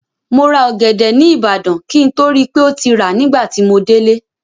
Mo ra ọ̀gẹ̀dẹ̀ ní ìbàdàn, kí n tó rí pé ó ti rà nígbà tí mo délé.